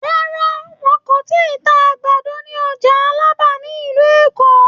Rárá, wọn kò ì tíì ta àgbàdo ní ọjà Alábà ní ìlú Èkó.